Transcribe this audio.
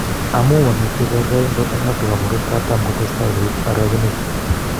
Amu mamitei kerkeindo eng Africa murot katam kotestai koip orekenet